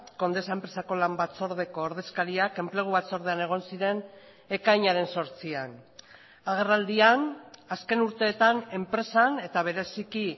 condesa enpresako lan batzordeko ordezkariak enplegu batzordean egon ziren ekainaren zortzian agerraldian azken urteetan enpresan eta bereziki